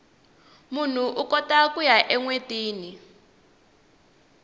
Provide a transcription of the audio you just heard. munhu ukota kuya enwetini